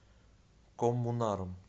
коммунаром